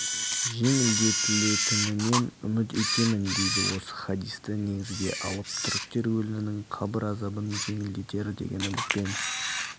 жеңілдетілетінінен үміт етемін дейді осы хадисті негізге алып түріктер өлінің қабір азабын жеңілдетер деген үмітпен